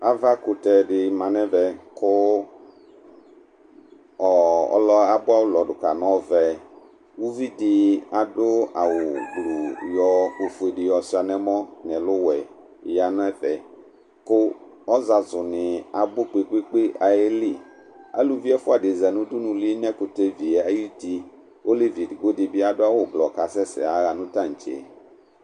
Ava kutɛ di ma n'ɛvɛ ku ɔɔ ɔlɔ abua ulɔ du ka n'ɔvɛ Uvɩ di adu awu gbluu yɔ ofue di yɔ ʃua n'ɛmɔ n'ɛlu wɛ ya n'ɛfɛ ku ɔzazu ni abu kpekpekpe aye li Aluvɩ ɛfua di za n'udunulie n'ɛkutɛ vie ayu ti , k'olevi edigbo di bi adu awu blɔ k'asɛsɛ yaɣa nu tatse